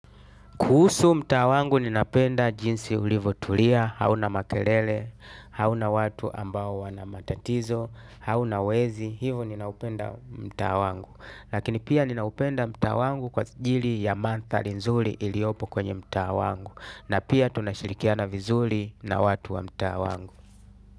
Kuhusu mtaa wangu ninapenda jinsi ilivyotulia hauna makelele hauna watu ambao wana matatizo hauna wezi hivyo ninaupenda mtaa wangu lakini pia ninaupenda mtaa wangu kwa ajili ya mandhari nzuri iliopo kwenye mtaa wangu. Na pia tunashirikiana vizuri na watu wa mtaa wangu.